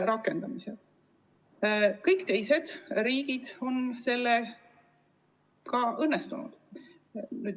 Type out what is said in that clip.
Kõigil teistel riikidel on see õnnestunud.